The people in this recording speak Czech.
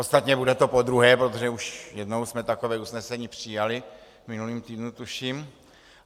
Ostatně bude to podruhé, protože už jednou jsme takové usnesení přijali, v minulém týdnu tuším.